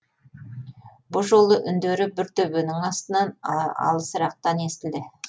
бұ жолы үндері бір төбенің астынан алысырақтан естілді